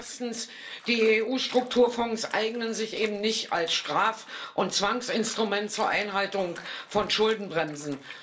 Erstens Die EU Strukturfonds eignen sich eben nicht als Straf und Zwangsinstrument zur Einhaltung von Schuldenbremsen.